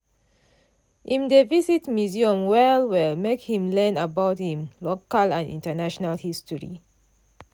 im dey visit museum well-well make him learn about im local and international history.